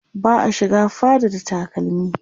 ba'a shiga fada da takalmi